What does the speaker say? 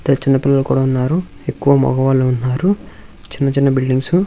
చిన్నచిన్న పిల్లలు కూడా ఉన్నారు ఎక్కువ మగవాళ్ళు ఉన్నారు చిన్న చిన్న బిల్డింగ్స్ .